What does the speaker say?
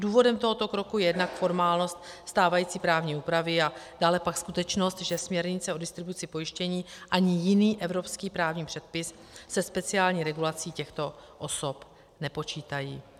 Důvodem tohoto kroku je jednak formálnost stávající právní úpravy a dále pak skutečnost, že směrnice o distribuci pojištění ani jiný evropský právní předpis se speciální regulací těchto osob nepočítají.